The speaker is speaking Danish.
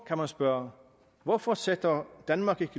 kan spørge hvorfor sætter danmark